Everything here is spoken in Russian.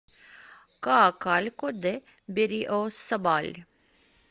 коакалько де берриосабаль